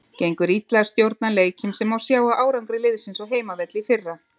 Gengur illa að stjórna leikjum sem má sjá á árangri liðsins á heimavelli í fyrra.